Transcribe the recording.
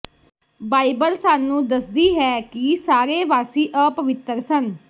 Bible ਸਾਨੂੰ ਦੱਸਦੀ ਹੈ ਕਿ ਸਾਰੇ ਵਾਸੀ ਅਪਵਿੱਤਰ ਸਨ